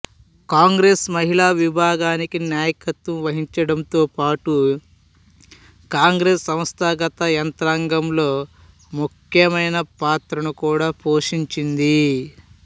కాంగ్రెస్ మహిళా విభాగానికి నాయకత్వం వహించడంతోపాటు కాంగ్రెస్ సంస్థాగత యంత్రాంగంలో ముఖ్యమైన పాత్రను కూడా పోషించింది